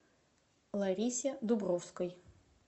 ларисе дубровской